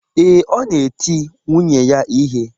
Ee, ọ na-eti nwunye ya ihe.